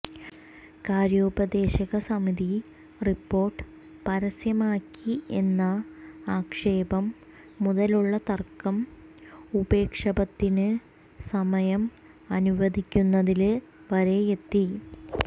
കാര്യോപദേശക സമിതി റിപ്പോര്ട്ട് പരസ്യമാക്കി എന്ന ആക്ഷേപം മുതലുളള തര്ക്കം ഉപക്ഷേപത്തിന് സമയം അനുവദിക്കുന്നതില് വരെയെത്തി